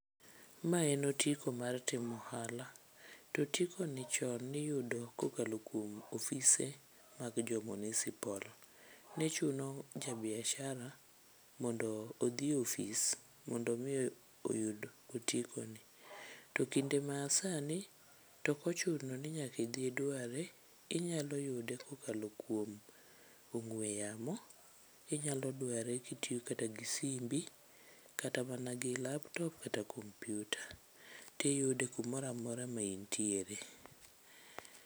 Ma en otiko mar timo ohala, to otiko ni chon niyudo kokalo kuom ofise mag jo munisipol. Ne chuno ja biashara mondo odhi e ofis mondo mi oyud otiko ni. To kinde ma sani tokochuno ni nyaka idhi idware, inyalo yude kokalo kuom ong'we yamo. Inyalo dware kitiyo kata gi simbi, kata mana gi laptop kata kompyuta, tiyude kamoramora ma intiere.